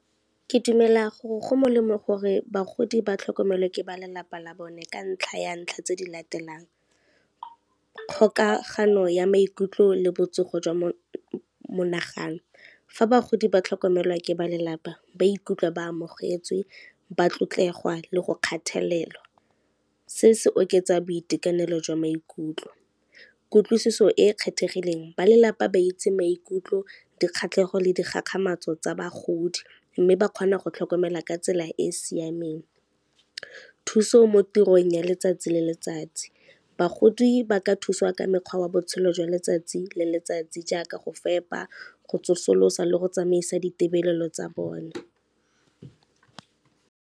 Ke dumela gore go molemo gore bagodi ba tlhokomelwe ke ba lelapa la bone ka ntlha ya ntlha tse di latelang, kgokagano ya maikutlo le botsogo jwa monagano. Fa bagodi ba tlhokomelwa ke ba lelapa ba ikutlwa ba amogetswe, ba tlotlegwa le go kgathalelwa, se se oketsa boitekanelo jwa maikutlo. Kutlwisiso e e kgethegileng ba lelapa ba itse maikutlo, dikgatlhegelo le dikgakgamatso tsa bagodi mme ba kgona go tlhokomela ka tsela e e siameng. Thuso mo tirong ya letsatsi le letsatsi, bagodi ba ka thusiwa ka mekgwa ya botshelo jwa letsatsi le letsatsi jaaka go fepa, go tsosolosa le go tsamaisa ditebelelo tsa bone.